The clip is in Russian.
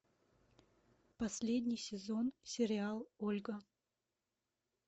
последний сезон сериал ольга